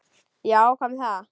Já, hvað með það?